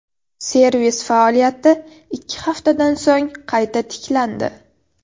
Servis faoliyati ikki haftadan so‘ng qayta tiklandi.